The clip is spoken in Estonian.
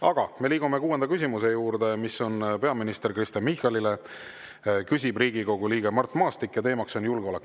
Aga me liigume kuuenda küsimuse juurde, mis on peaminister Kristen Michalile, küsib Riigikogu liige Mart Maastik ja teemaks on julgeolek.